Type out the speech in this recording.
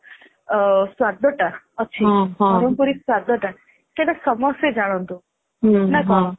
ସ୍ଵାଦଟା ଅଛି ବରମପୁରୀ ସ୍ଵାଦ ଟା ସେଇଟା ସାମସ୍ତେ ଜାଣନ୍ତୁ ନା କଣ